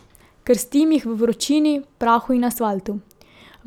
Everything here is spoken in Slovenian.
Krstim jih v vročini, prahu in asfaltu.